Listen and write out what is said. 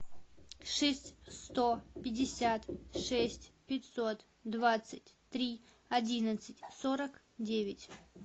шесть сто пятьдесят шесть пятьсот двадцать три одиннадцать сорок девять